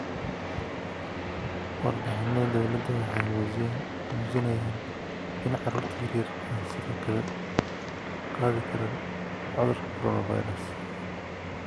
Warbixinnada dawladdu waxay muujinayaan in carruurta yaryar ay sidoo kale qaadi karaan cudurka 'coronavirus'.